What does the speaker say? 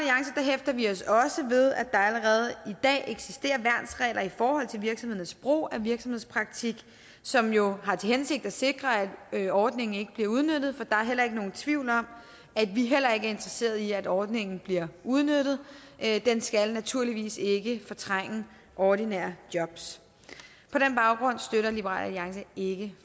hæfter vi os også ved at der allerede i dag eksisterer værnsregler i forhold til virksomhedernes brug af virksomhedspraktik som jo har til hensigt at sikre at ordningen ikke bliver udnyttet for der er ikke nogen tvivl om at vi heller ikke er interesseret i at ordningen bliver udnyttet den skal naturligvis ikke fortrænge ordinære jobs på den baggrund støtter liberal alliance ikke